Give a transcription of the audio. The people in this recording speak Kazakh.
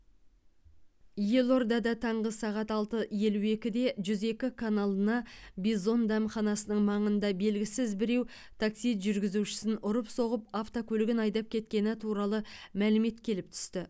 елордада таңғы сағат алты елу екіде жүз екі каналына бизон дәмханасының маңында белгісіз біреу такси жүргізушісін ұрып соғып автокөлігін айдап кеткені туралы мәлімет келіп түсті